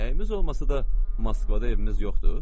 Nəyimiz olmasa da Moskvada evimiz yoxdur?